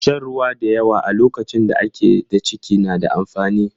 Shan ruwa da yawa a lokacin da ake da ciki na da amfani.